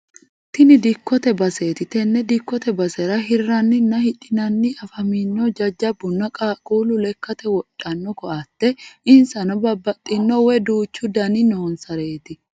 Tini dikkote baseeti tenne dikkote basera hirranninna hidhinanni afammannihu jajjabunna qaaqquullu lekkate wodhanno koateeti insarano babbaxino woy duuchu dani noonsareeti.